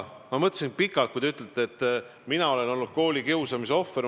Ma mõtlesin pikalt selle üle, et te ütlesite, et mina olen olnud koolikiusamise ohver.